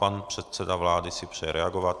Pan předseda vlády si přeje reagovat.